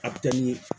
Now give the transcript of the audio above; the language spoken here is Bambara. A bɛ kɛ ni